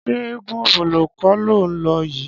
Ṣé eégún Ọ̀bọ̀lọ́ kọ́ ló ń lọ yìí?